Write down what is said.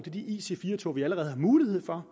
i de ic4 tog vi allerede har mulighed for